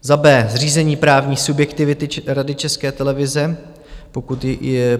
b) zřízení právní subjektivity Rady České televize.